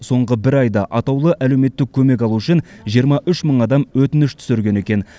соңғы бір айда атаулы әлеуметтік көмек алу үшін жиырма үш мың адам өтініш түсірген екен